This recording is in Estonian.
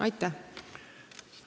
Aitäh!